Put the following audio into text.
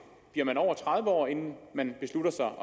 bliver man over tredive år inden man beslutter sig og